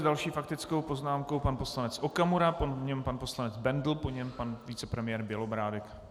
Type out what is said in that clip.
S další faktickou poznámkou pan poslanec Okamura, po něm pan poslanec Bendl, po něm pan vicepremiér Bělobrádek.